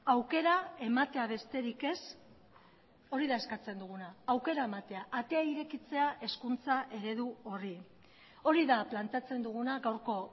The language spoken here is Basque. aukera ematea besterik ez hori da eskatzen duguna aukera ematea atea irekitzea hezkuntza eredu horri hori da planteatzen duguna gaurko